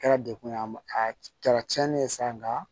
Kɛra dekun ye a ma a kɛra tiɲɛni ye sa nga